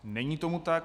Není tomu tak.